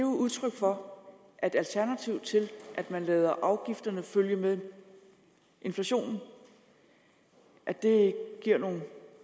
udtryk for at alternativ til at man lader afgifterne følge med inflationen og at det giver nogle